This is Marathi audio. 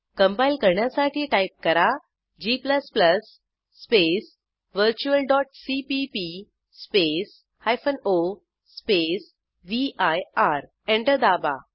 कंपाईल करण्यासाठी टाईप करा g space virtual CPP space o space vir enter दाबा